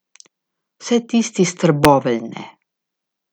Vsaj tisti iz Trbovelj ne.